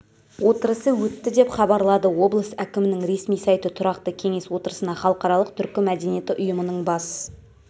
отырысы өтті деп хабарлады облыс әкімінің ресми сайты тұрақты кеңес отырысына халықаралық түркі мәдениеті ұйымының бас